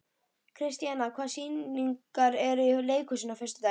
Kristíanna, hvaða sýningar eru í leikhúsinu á föstudaginn?